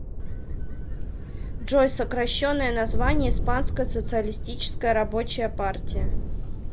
джой сокращенное название испанская социалистическая рабочая партия